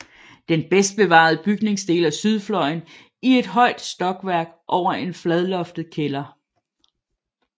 Den bedst bevarede bygningsdel er sydfløjen i ét højt stokværk over en fladloftet kælder